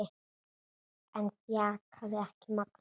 Það þjakaði ekki Magnús.